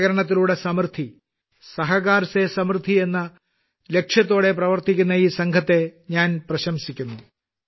സഹകരണത്തിലൂടെ സമൃദ്ധി എന്ന സങ്കൽപത്തിലൂടെ പ്രവർത്തിക്കുന്ന ഈ സംഘത്തെ ഞാൻ പ്രശംസിക്കുന്നു